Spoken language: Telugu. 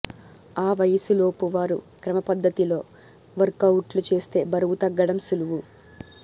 ఆ వయసులోపు వారు క్రమపద్ధతిలో వర్కవుట్లు చేస్తే బరువు తగ్గడం సులువు